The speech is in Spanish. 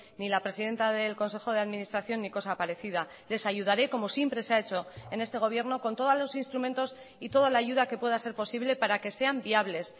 ni la presidenta del consejo de administración ni cosa parecida les ayudaré como siempre se ha hecho en este gobierno con todos los instrumentos y toda la ayuda que pueda ser posible para que sean viables